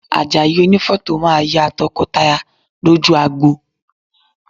Àjàyí onífọ́tò máa ya tọkọtaya lójú agbo